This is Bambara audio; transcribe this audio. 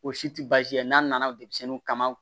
O si tɛ baasi ye n'a nana denmisɛnnin kama